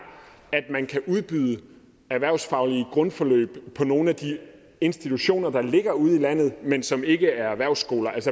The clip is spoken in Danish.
at man kan udbyde erhvervsfaglige grundforløb på nogle af de institutioner der ligger ude i landet men som ikke er erhvervsskoler